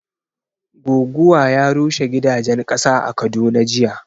Goguwa ya rushe gidajen ƙasa a Kaduna jiya